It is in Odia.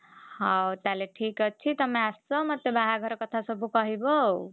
ହଉ ତାହେଲେ ଠିକ୍ ଅଛି ତମେ ଆସ ମତେ ବାହାଘର କଥା ସବୁ କହିବ ଆଉ,